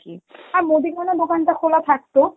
আ মুদিখানার দোকানটা খোলা থাকতো